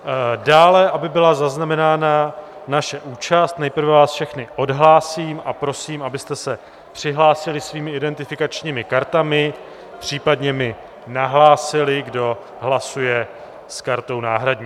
Dále, aby byla zaznamenána naše účast, nejprve vás všechny odhlásím a prosím, abyste se přihlásili svými identifikačními kartami, případně mi nahlásili, kdo hlasuje s kartou náhradní.